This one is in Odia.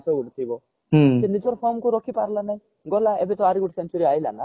ସେ ନିଜର form କୁ ରଖୀ ପାରିଲା ନାହି ଗଲା ଏବେ ଆହୁରି ଗୋଟେ century ଗୋଟେ ଆଇଲା ନା